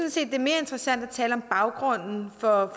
sådan at tale om baggrunden for